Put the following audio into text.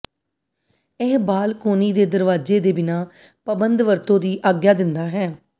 ਇਹ ਬਾਲਕੋਨੀ ਦੇ ਦਰਵਾਜ਼ੇ ਦੇ ਬਿਨਾਂ ਪਾਬੰਦ ਵਰਤੋ ਦੀ ਆਗਿਆ ਦਿੰਦਾ ਹੈ